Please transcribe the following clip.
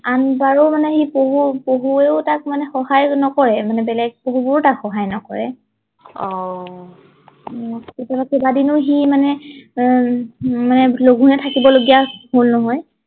আন বাৰে মানি সি পশু পশু মানে তাক সহায় নকৰে মানে বেলেগ পশু বোৰে তাক সহায় নকৰে আহ ভাবি সি মানে আহ মানে লঘোনে থাকিব লগিয়া হল নহয়